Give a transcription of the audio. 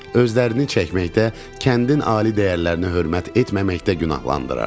Özlərini çəkməkdə, kəndin ali dəyərlərinə hörmət etməməkdə günahlandırırdı.